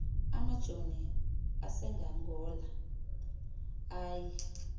amajoni aseangola aye